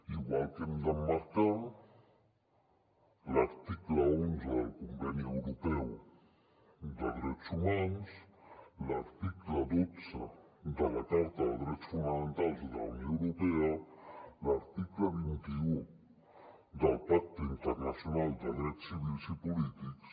igual que hem d’emmarcar l’article onze del conveni europeu de drets humans l’article dotze de la carta de drets fonamentals de la unió europea l’article vint un del pacte internacional de drets civils i polítics